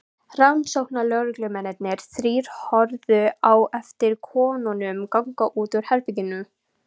Rannsóknarlögreglumennirnir þrír horfðu á eftir konunum ganga út úr herberginu.